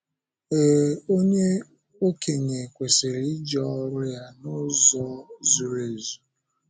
Éé, onye ọkénye kwesịrị ‘ịje ọ́rụ ya n’ụzọ zuru ezu.’